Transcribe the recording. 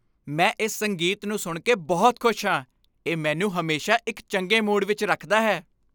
ਮੈਂ ਇਸ ਸੰਗੀਤ ਨੂੰ ਸੁਣ ਕੇ ਬਹੁਤ ਖੁਸ਼ ਹਾਂ। ਇਹ ਮੈਨੂੰ ਹਮੇਸ਼ਾ ਇੱਕ ਚੰਗੇ ਮੂਡ ਵਿੱਚ ਰੱਖਦਾ ਹੈ।